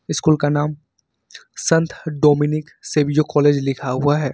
School का नाम संत डोमिनिक सेविजो कॉलेज लिखा हुआ है।